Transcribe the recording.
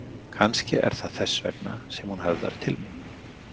Kannski er það þess vegna sem hún höfðar til mín.